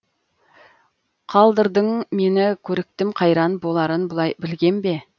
қалдырдың мені көрікітім қайран боларын бұлай білгем бе